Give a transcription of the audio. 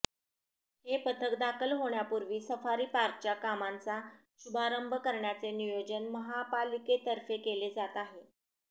हे पथक दाखल होण्यापूर्वी सफारी पार्कच्या कामांचा शुभारंभ करण्याचे नियोजन महापालिकेतर्फे केले जात आहे